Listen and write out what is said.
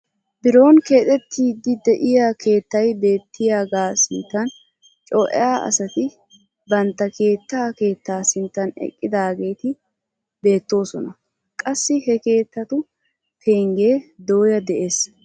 Biron keexettiidi de'iyaa keettay beettiyaagaa sinttan coea asati banttaa keettaa keettaa sinttan eqidaageti beettoosona. qassi he keettatu penggee dooya de'ees.